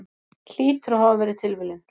Hlýtur að hafa verið tilviljun.